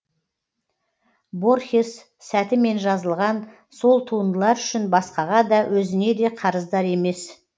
борхес сәтімен жазылған сол туындылар үшін басқаға да өзіне де қарыздар емес